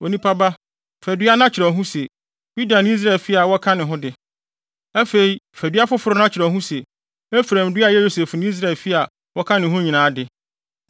“Onipa ba, fa dua na kyerɛw ho se, ‘Yuda ne Israelfo a wɔka ne ho de.’ Afei fa dua foforo na kyerɛw ho se, ‘Efraim dua a ɛyɛ Yosef ne Israelfi a wɔka ne ho nyinaa de.’